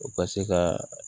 U ka se ka